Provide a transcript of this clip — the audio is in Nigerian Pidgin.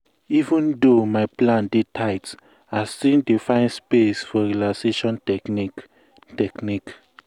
even though my plan dey tight i still dey find space for relaxation technique. technique.